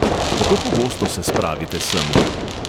Kako pogosto se spravite semle?